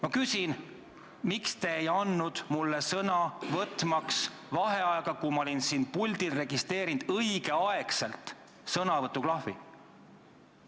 Ma küsin: miks te ei andnud mulle sõna, võtmaks vaheaega, kui ma olin siin puldil õigel ajal vajutanud sõnavõtuklahvi?